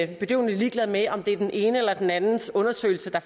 bedøvende ligeglad med om det er den enes eller den andens undersøgelse der